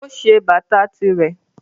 O ṣe bata tirẹ.